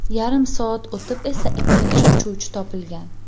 Yarim soat o‘tib esa ikkinchi uchuvchi topilgan.